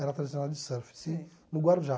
Era tradicional de surf assim no Guarujá.